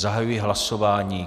Zahajuji hlasování.